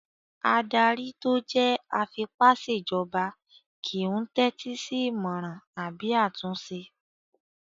Adarí tó jẹ́ afipásèjọba kìí n tẹ́tí sí ìmọràn àbí àtúnṣe